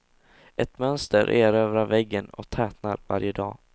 Ett mönster erövrar väggen och tätnar varje dag.